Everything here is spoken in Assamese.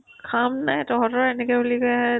কাম নাই তহতৰ এনেকে বুলি কৈ আৰ্